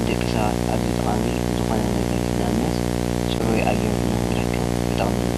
ንደቂ ሰባት ኣዝዩ ጠቃሚ ዝኮነ ነገር እዩ፡፡ ንኣብነት ፅሩይ ኣየር ንክንረክብ ይጠቅመና፡፡